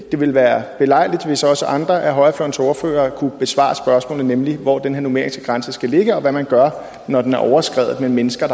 det ville være belejligt hvis også andre af højrefløjens ordførere kunne besvare spørgsmålet nemlig hvor den her numeriske grænse skal ligge og hvad man gør når den er overskredet og mennesker